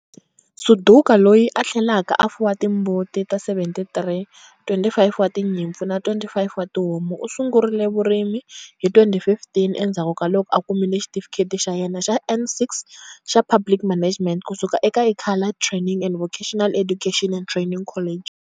Suduka, loyi a tlhelaka a fuwa timbuti ta 73, 25 wa tinyimpfu na 25 wa tihomu, u sungurile vurimi hi 2015 endzhaku ka loko a kumile Xitifikheti xa yena xa N6 xa Public Management kusuka eka Ikhala Training and Vocational Education and Training College.